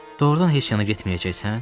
Doğrudan heç yana getməyəcəksən?